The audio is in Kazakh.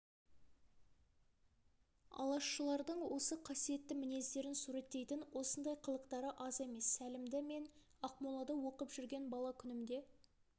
алашшылардың осы қасиетті мінездерін суреттейтін осындай қылықтары аз емес сәлімді мен ақмолада оқып жүрген бала күнімде